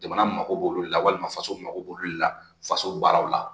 Jamana mago b'olu la walima faso mako b'olu la faso baaraw la